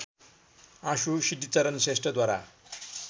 आँसु सिद्धिचरण श्रेष्ठद्वारा